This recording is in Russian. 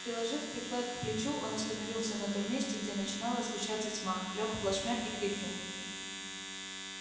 приложив приклад к плечу он остановился на том месте где начинала сгущаться тьма лёг плашмя и крикнул